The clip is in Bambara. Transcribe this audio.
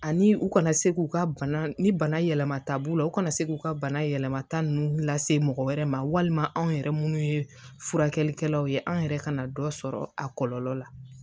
Ani u kana se k'u ka bana ni bana yɛlɛma ta b'u la u kana se k'u ka bana yɛlɛmata ninnu lase mɔgɔ wɛrɛ ma walima anw yɛrɛ minnu ye furakɛlikɛlaw ye anw yɛrɛ kana dɔ sɔrɔ a kɔlɔlɔ la